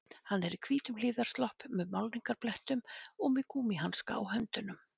Hann er í hvítum hlífðarslopp með málningarblettum og með gúmmíhanska á höndunum